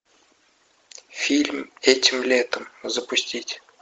фильм этим летом запустить